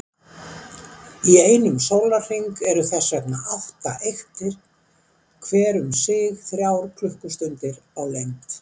Í einum sólarhring eru þess vegna átta eyktir, hver um sig þrjár klukkustundir á lengd.